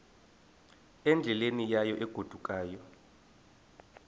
endleleni yayo egodukayo